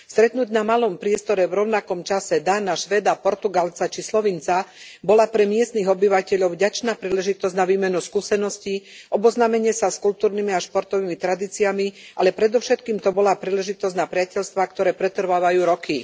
Stretnúť na malom priestore v rovnakom čase Dána, Švéda, Portugalca či Slovinca bola pre miestnych obyvateľov vďačná príležitosť na výmenu skúsenosti, oboznámenie sa s kultúrnymi a športovými tradíciami, ale predovšetkým to bola príležitosť na priateľstvá, ktoré pretrvávajú roky.